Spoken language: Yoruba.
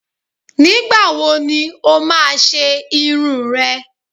Nígbàwoni o má a ṣe irun n rẹ?